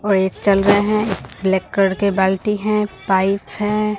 और एक चल रहे हैं करके बाल्टी हैं पाइप है।